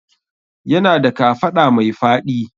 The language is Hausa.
Yana da kafaɗa mai faɗi